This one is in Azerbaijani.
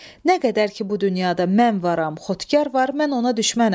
Nə qədər ki bu dünyada mən varam, Xotkar var, mən ona düşmənəm.